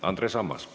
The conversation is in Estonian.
Andres Ammas.